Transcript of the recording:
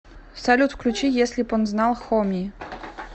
салют включи если б он знал хоми